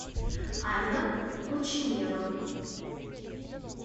анна кученева